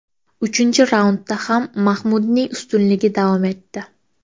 Uchinchi raundda ham Mahmudning ustunligi davom etdi.